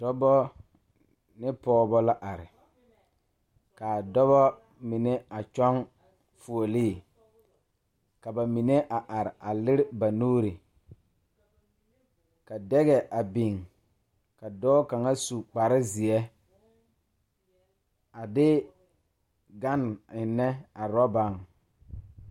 Die poɔ la ka dokogro biŋ ka tabol biŋ kaa dankyime e peɛle kaa dokogro e tampɛloŋ.